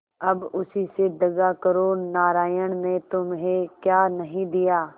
अब उसी से दगा करो नारायण ने तुम्हें क्या नहीं दिया